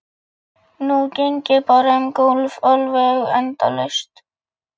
Nú geng ég bara um gólf, alveg endalaust.